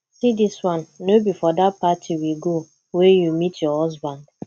see dis one no be for dat party we go wey you meet your husband